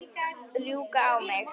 Rjúka á mig?